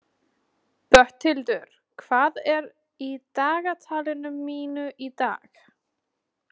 Bóthildur, hvað er í dagatalinu mínu í dag?